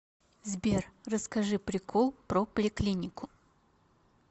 сбер расскажи прикол про поликлинику